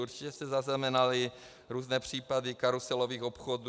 Určitě jste zaznamenali různé případy karuselových obchodů.